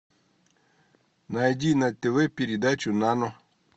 найди на тв передачу нано